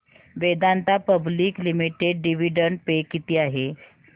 Vedanta public limited dividend पे किती आहे